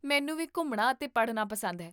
ਮੈਨੂੰ ਵੀ ਘੁੰਮਣਾ ਅਤੇ ਪੜ੍ਹਨਾ ਪਸੰਦ ਹੈ